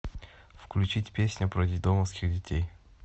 включить песня про детдомовских детей